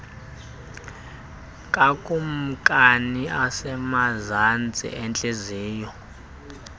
kakumkani osemazantsi entliziyo